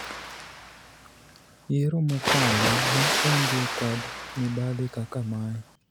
yiero mokalo ne onge kod mibadhi kaka mae